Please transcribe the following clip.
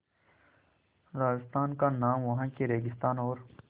राजस्थान का नाम वहाँ के रेगिस्तान और